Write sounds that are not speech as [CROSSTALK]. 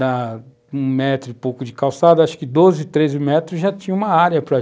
ah, um metro e pouco de calçado, acho que 12, 13 metros já tinha uma área para [UNINTELLIGIBLE]